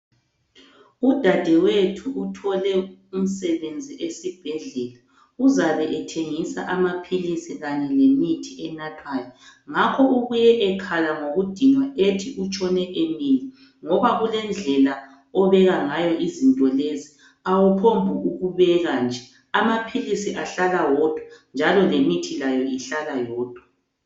Udadewethu uthole umsebenzi esibhedlela, uzabe ethengisa amaphilisi kanye lemithi enathwayo. Ngakho ubuye ekhala ngokudinwa ethi utshone emile ,ngoba kulendlela obeka ngayo izinto lezi .Awuphongukubeka nje ,amaphilisi ahlala wodwa njalo lemithi layo ihlala yodwa.